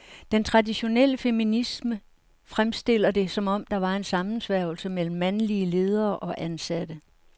Den traditionelle feminisme fremstiller det, som om der var en sammensværgelse mellem mandlige ledere og ansatte.